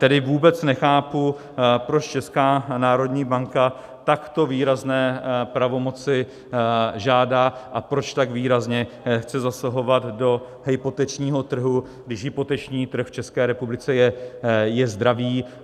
Tedy vůbec nechápu, proč Česká národní banka takto výrazné pravomoci žádá a proč tak výrazně chce zasahovat do hypotečního trhu, když hypoteční trh v České republice je zdravý.